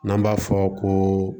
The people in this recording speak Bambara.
N'an b'a fɔ ko